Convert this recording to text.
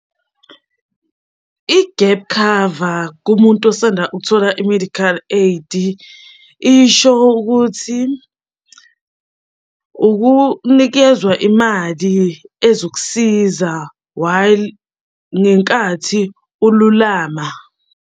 I-gap cover kumuntu osanda ukuthola i-medical aid isho ukuthi, ukunikezwa imali ezokusiza while ngenkathi ululama.